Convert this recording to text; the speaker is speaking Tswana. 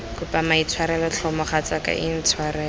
kopa maitshwarelo tlhe mogatsaka intshwarele